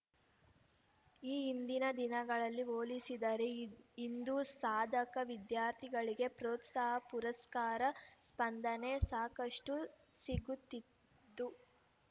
ಈ ಹಿಂದಿನ ದಿನಗಳಿಗೆ ಹೋಲಿಸಿದರೆ ಇ ಇಂದು ಸಾಧಕ ವಿದ್ಯಾರ್ಥಿಗಳಿಗೆ ಪ್ರೋತ್ಸಾಹ ಪುರಸ್ಕಾರ ಸ್ಪಂದನೆ ಸಾಕಷ್ಟುಸಿಗುತ್ತಿದ್ದು